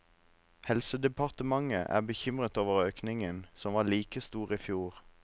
Helsedepartementet er bekymret over økningen, som var like stor i fjor.